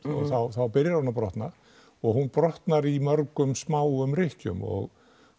þá byrjar hún að brotna og hún brotnar í mörgum smáum rykkjum og